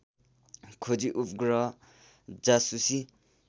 खोजी उपग्रह जासूसी